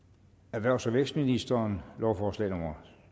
erhvervs og vækstministeren lovforslag nummer